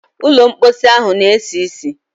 Ụlọ mposi ahụ na-esi ísì.